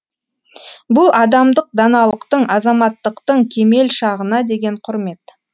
бұл адамдық даналықтың азаматтықтың кемел шағына деген құрмет